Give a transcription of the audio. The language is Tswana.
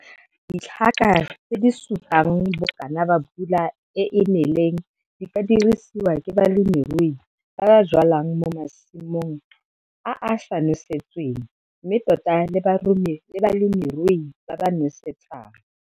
Ditlhaka tse disupang bokana ba pula e e neleng di ka dirisiwa ke balemirui ba ba jwalang mo masimong a a sa nosetsweng mme tota le balemirui ba ba nosetsang.